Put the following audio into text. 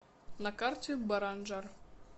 на карте баранжар